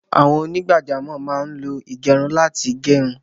Àwọn onígbàjámọ̀ máá lo ìgẹrun láti gẹrun